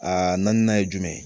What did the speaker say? Aa naaninan ye jumɛn ye